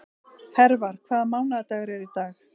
Hervar, hvaða mánaðardagur er í dag?